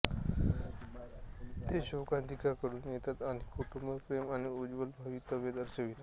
ते शोकांतिकातून येतात आणि कुटुंब प्रेम आणि उज्ज्वल भवितव्य दर्शवितात